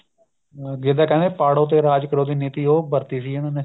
ਜੇ ਤਾਂ ਕਹਿੰਦੇ ਪਾੜੋ ਤੇ ਰਾਜ ਕਰੋ ਦੀ ਨੀਤੀ ਉਹ ਵਰਤੀ ਸੀ ਇਹਨਾ ਨੇ